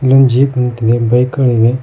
ನನ್ ಜೀಪ್ ನಿಂತಿದೆ ಬೈಕ್ ಗಳಿವೆ.